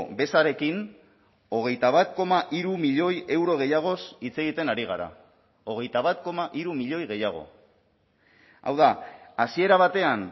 bezarekin hogeita bat koma hiru milioi euro gehiagoz hitz egiten ari gara hogeita bat koma hiru milioi gehiago hau da hasiera batean